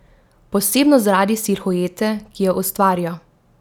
Posebno zaradi silhuete, ki jo ustvarijo.